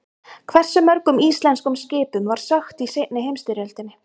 Hversu mörgum íslenskum skipum var sökkt í seinni heimsstyrjöldinni?